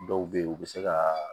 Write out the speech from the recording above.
Dɔw bɛ yen u bɛ se ka